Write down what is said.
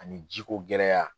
Ani jiko gɛlɛya.